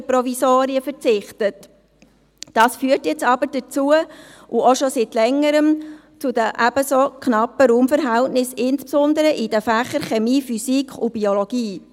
Dies führt jetzt und schon seit Längerem zu den knappen Raumverhältnissen, insbesondere in den Fächern Chemie, Physik und Biologie.